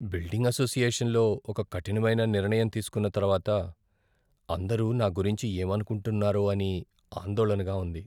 Building అసోసియేషన్లో ఒక కఠినమైన నిర్ణయం తీసుకున్న తర్వాత అందరూ నా గురించి ఏమనుకుంటున్నారో అని ఆందోళనగా ఉంది.